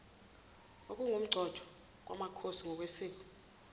okungukugcotshwa kwamakhosi ngokwesiko